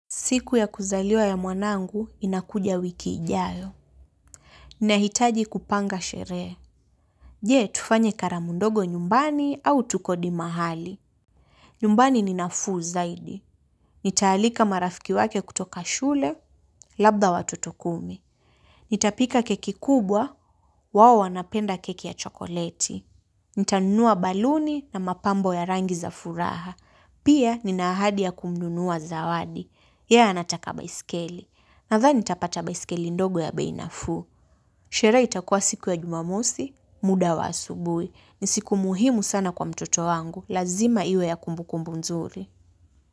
Siku ya kuzaliwa ya mwanangu, inakuja wiki ijayo. Ninahitaji kupanga shere. Je, tufanye karamu ndogo nyumbani au tukodi mahali. Nyumbani ninafuu zaidi. Nitaalika marafiki wake kutoka shule, labda watoto kumi. Nitapika keki kubwa, wao wanapenda keki ya chokoleti. Nitanunua baluni na mapambo ya rangi za furaha. Pia, nina ahadi kununua zawadi. Ya anataka baiskeli. Nadhani nitapata baiskeli ndogo ya bei nafuu. Sherehe itakua siku ya jumamosi, muda wa asubuhi. Ni siku muhimu sana kwa mtoto wangu. Lazima iwe ya kumbukumbu nzuri.